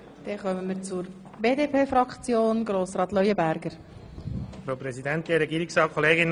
Wir kommen zu den reinen Fraktionsvoten.